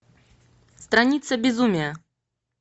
страница безумия